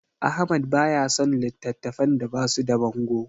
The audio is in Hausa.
Ahmad baya son littattafan da basu da bango.